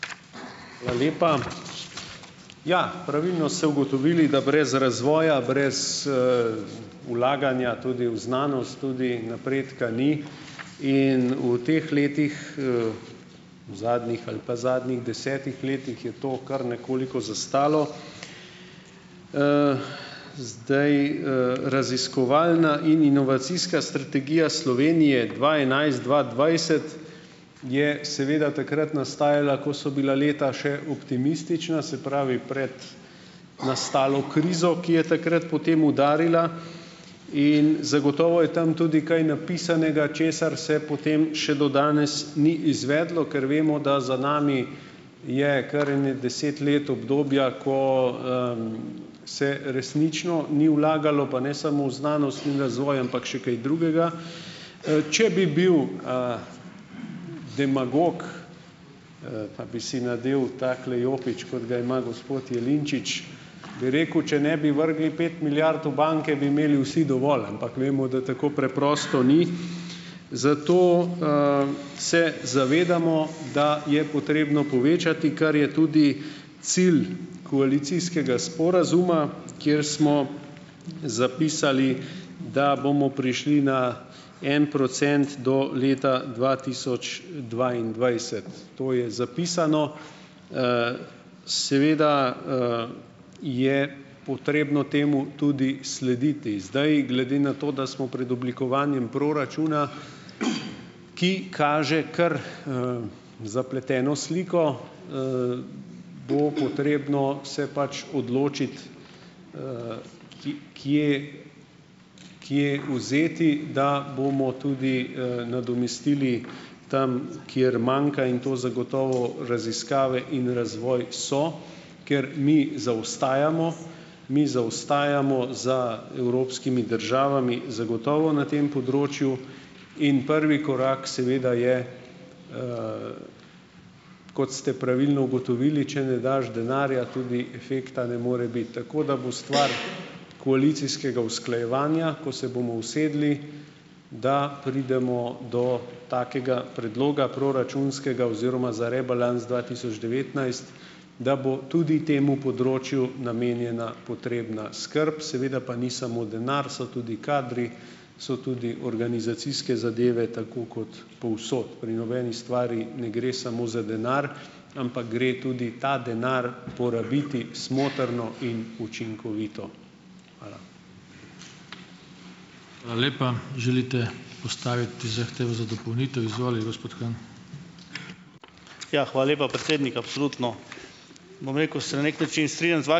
Hvala lepa! Ja, pravilno ste ugotovili, da brez razvoja, brez, vlaganja tudi v znanost, tudi napredka ni in v teh letih, v zadnjih ali pa zadnjih desetih letih je to kar nekoliko zastalo. Zdaj, raziskovalna in inovacijska strategija Slovenije dva enajst-dva dvajset je seveda takrat nastajala, ko so bila leta še optimistična, se pravi, pred nastalo krizo, ki je takrat potem udarila, in zagotovo je tam tudi kaj napisanega, česar se potem še do danes ni izvedlo, ker vemo da za nami je kar ene deset let obdobja, ko, se resnično ni vlagalo, pa ne samo v znanost in razvoj, ampak še kaj drugega. Če bi bil, demagog, pa bi si nadel takole jopič, kot ga ima gospod Jelinčič, bi rekel, če ne bi vrgli pet milijard v banke, bi imeli vsi dovolj, ampak vemo, da tako preprosto ni, zato, se zavedamo, da je potrebno povečati, kar je tudi cilj koalicijskega sporazuma, kjer smo zapisali, da bomo prišli na en procent do leta dva tisoč dvaindvajset, to je zapisano. Seveda, je potrebno temu tudi slediti. Zdaj, glede na to, da smo pred oblikovanjem proračuna, ki kaže kar, zapleteno sliko, bo potrebno se pač odločiti, kje kje vzeti, da bomo tudi, nadomestili tam, kjer manjka, in to zagotovo raziskave in razvoj so, ker mi zaostajamo, mi zaostajamo za evropskimi državami zagotovo na tem področju in prvi korak seveda je, kot ste pravilno ugotovili, če ne daš denarja, tudi efekta ne more biti. Tako da bo stvar koalicijskega usklajevanja, ko se bomo usedli, da pridemo do takega predloga proračunskega oziroma za rebalans dva tisoč devetnajst, da bo tudi temu področju namenjena potrebna skrb, seveda pa ni samo denar, so tudi kadri, so tudi organizacijske zadeve tako kot povsod. Pri nobeni stvari ne gre samo za denar, ampak gre tudi ta denar porabiti smotrno in učinkovito. Hvala.